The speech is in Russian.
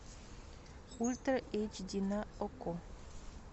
ультра эйч ди на окко